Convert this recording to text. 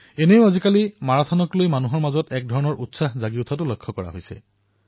এনেও আজিকালি জনতাই মাৰাথনৰ প্ৰতি আগ্ৰহ প্ৰকাশ কৰাটো সৰ্বত্ৰ পৰিলক্ষিত হৈছে